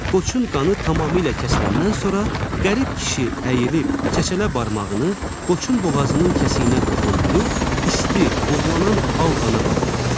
Qoçun qanı tamamilə kəsiləndən sonra qərib kişi əyilib çəçələ barmağını qoçun boğazının kəsiyinə toxundub isti, buğlanan al qana batırdı.